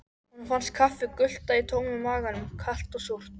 Honum fannst kaffið gutla í tómum maganum, kalt og súrt.